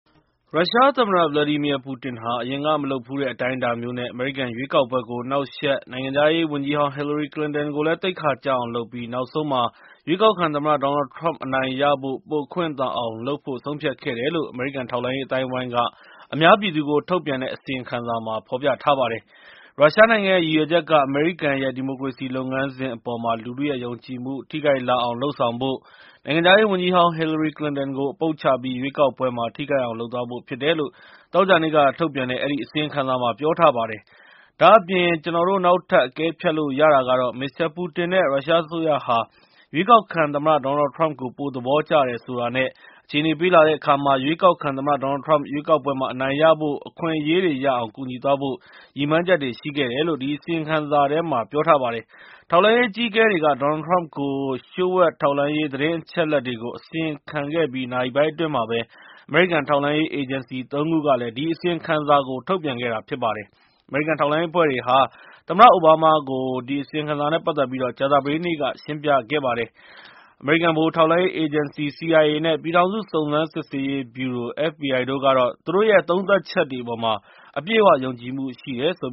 ရုရှားသမ္မတ ဗလာဒီမီယာပူတင်ဟာ အရင်ကမလုပ်ဖူးတဲ့အတိုင်းအတာမျိုးနဲ့ အမေရိကန်ရွေးကောက်ပွဲကို နှောက်ယှက်၊ နိုင်ငံရေးဝန်ကြီးဟောင် ဟီလရီကလင်တန်ကိုလည်း သိက္ခာကျအောင်လုပ်ပြီး နောက်ဆုံးမှာ ရွေးကောက်ခံသမ္မတ ဒေါ်နယ်လ်ထရမ့်အနိုင်ရဖို့ ပိုအခွင့်သာအောင် လုပ်ဖို့ ဆုံးဖြတ်ခဲ့တယ်လို့ အမေရိကန်ထောက်လှမ်းရေးအသိုင်းအဝိုင်းက အများပြည်သူကို ထုတ်ပြန်တဲ့ အစီရင်ခံစာမှာ ဖော်ပြထားပါတယ်။ ရုရှားနိုင်ငံရဲ့ ရည်ရွယ်ချက်က အမေရိကန်ရဲ့ ဒီမိုကရေစီလုပ်ငန်းစဉ်အပေါ်မှာ လူထုရဲ့ ယုံကြည်မှုထိခိုက်လာအောင်လုပ်ဆောင်ဖို့၊ နိုင်ငံခြားရေးဝန်ကြီးဟောင် ဟီလရီကလင်ကို အပုပ်ချပြီး ရွေးကောက်ပွဲမှာ ထိခိုက်အောင် လုပ်သွားဖို့ဖြစ်တယ်လို့ သောကြာနေ့က ထုတ်ပြန်ထားတဲ့ အဲဒီအစီရင်ခံစာမှာ ပြောထားပါတယ်။ ဒါ့အပြင် ကျနော်တို့အနေနဲ့ နောက်ထပ် အကဲဖြတ်လို့ရတာကတော့ မစ္စတာ ပူတင် နဲ့ ရုရှားအစိုးရဟာ ရွေးကောက်ခံသမ္မတ ဒေါ်နယ်လ်ထရမ့်ကို ပိုသဘောကျတယ်ဆိုတာနဲ့ အခြေအနေပေးလာတဲ့အခါ ရွေးကောက်ခံသမ္မတ ဒေါ်နယ်လ်ထရမ့် ရွေးကောက်ပွဲမှာ အနိုင်ရဖို့အခွင့်အရေးတွေရအောင် ကူညီပေးသွားဖို့ ရည်မှန်းချက်ရှိခဲ့တယ်လို့ အဲဒီအစီရင်ခံစာမှာ ပြောထားပါတယ်။ ထောက်လှမ်းရေးအကြီးအကဲတွေက ဒေါ်နယ်လ်ထရမ့်ကို လျှို့ဝှက်ထောက်လှမ်းရေးသတင်း အချက်အလက်တွေကို အစီရင်ခံခဲ့ပြီးနာရီပိုင်းအတွင်းမှာပဲ အမေရိကန်ထောက်လှမ်းရေးအေဂျင်စီ ၃ ခုက ဒီအစီရင်ခံစာကို ထုတ်ပြန်ခဲ့တာဖြစ်ပါတယ်။ ဒီအစီရင်ခံစာကို တင်ဖို့ အမိန့်ပေးခဲ့တဲ့ သမ္မတဘရက်ခ်အိုဘားမားကိုတော့ အမေရိကန်ထောက်လှမ်းရေး အဖွဲ့တွေက ကြာသပတေးနေ့က ရှင်းပြခဲ့ကြပါတယ် အမေရိကန်ဗဟိုထောက်လှမ်းရေးအေဂျင်စီ CIA နဲ့ ပြည်ထောင်စုစုံစမ်းစစ်ဆေးရေးဗြူရို FBI တို့ကတော့ သူတို့ရဲ့ သုံးသပ်ချက်တွေအပေါ်မှာ အပြည့်အဝယုံကြည်မှုရှိတယ်လို့